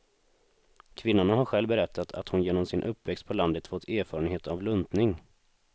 Kvinnan har själv berättat att hon genom sin uppväxt på landet fått erfarenhet av luntning.